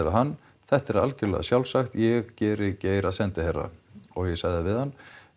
hann þetta er algjörlega sjálfsagt ég geri Geir að sendiherra og ég sagði við hann